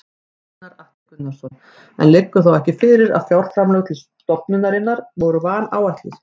Gunnar Atli Gunnarsson: En liggur þá ekki fyrir að fjárframlög til stofnunarinnar voru vanáætluð?